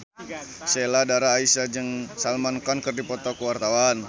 Sheila Dara Aisha jeung Salman Khan keur dipoto ku wartawan